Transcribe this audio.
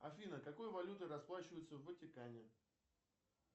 афина какой валютой расплачиваются в ватикане